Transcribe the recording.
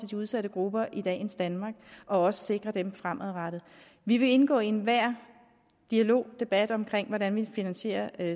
de udsatte grupper i dagens danmark og også sikrer dem fremadrettet vi vil indgå i enhver dialog og debat om hvordan vi finansierer